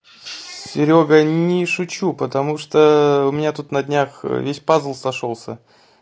серёга не шучу потому что у меня тут на днях весь пазл сошёлся